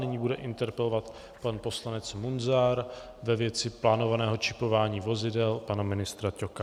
Nyní bude interpelovat pan poslanec Munzar ve věci plánovaného čipování vozidel pana ministra Ťoka.